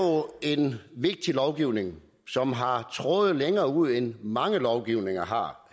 en vigtig lovgivning som har tråde længere ud end mange lovgivninger har